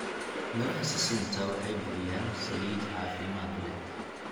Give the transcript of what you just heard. Midhaha sisinta waxay bixiyaan saliid caafimaad leh.